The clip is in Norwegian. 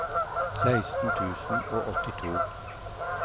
seksten tusen og åttito